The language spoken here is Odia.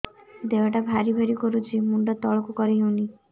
ଦେହଟା ଭାରି ଭାରି କରୁଛି ମୁଣ୍ଡ ତଳକୁ କରି ହେଉନି